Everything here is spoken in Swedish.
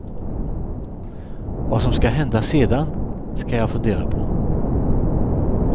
Vad som ska hända sedan ska jag fundera på.